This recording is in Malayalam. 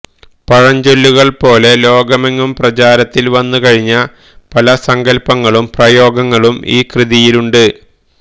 പഴഞ്ചൊല്ലുകൾപോലെ ലോകമെങ്ങും പ്രചാരത്തിൽ വന്നുകഴിഞ്ഞ പല സങ്കല്പങ്ങളും പ്രയോഗങ്ങളും ഈ കൃതിയിലുണ്ട്